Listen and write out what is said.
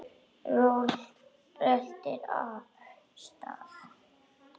Röltir af stað.